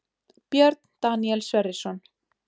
Björn Daníel Sverrisson